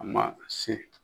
A ma se